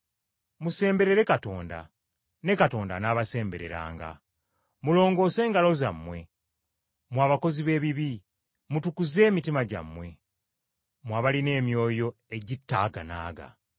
Musemberere Katonda, ne Katonda anaabasembereranga. Mulongoose engalo zammwe, mmwe abakozi b’ebibi, mutukuze emitima gyammwe, mmwe abalina emyoyo egitaaganaaga.